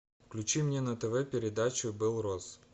включи мне на тв передачу белрос